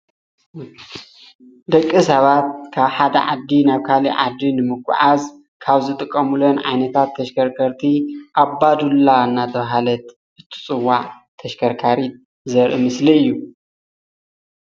ደቂ ሰባት ካብ ሓደ ዓዲ ናብ ካሊእ ዓዲ ንምጉዓዝ ካብ ዝጥቀሙለን ዓይነታት ተሸከርከርቲ ኣባዱላ እናተባሃለት እትፅዋዕ ተሽከርካሪት ዘርኢ ምስሊ እዩ፡፡